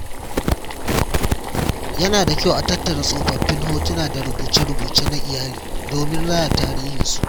Yana da kyau a tattara tsofaffin hotuna da rubuce-rubuce na iyali domin raya tarihinsu.